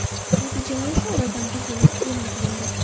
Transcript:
Natijalari esa oradan bir yil o‘tib e’lon qilindi.